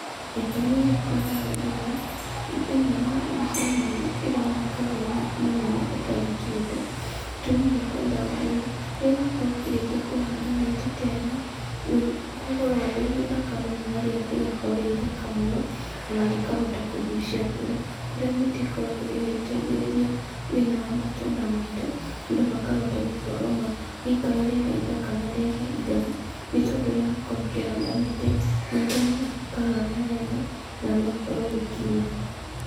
Gĩtũmi gĩa kwenda ũndũ ũyũ, thĩinĩ wa mbica-inĩ ĩno ĩroneka ironeka weni mũnene ũtarĩ kĩndũ, gĩtũmi gĩa kwenda ũndũ ũyũ, rĩrĩa wakorwo ũkĩrĩkia kũhanda mĩtĩ ta ĩno, nĩ gũkoragwo gwĩ gũthaka mũno na rĩera rĩgakorwo rĩ ithaka mũno, ona rĩkahota kũgucia mbura, kũrĩa mĩtĩ ĩkoragwo ĩgĩteithĩrĩria thĩinĩ wa matũra maitũ andũ makahota gũkorwo magĩikara rĩera ithaka na rĩera itheru, nĩ tondũ rĩrĩa wakorwo ũkĩhanda mĩtĩ nĩ ĩtũmaga gũkahana wega na gũgakorwo gũkiura.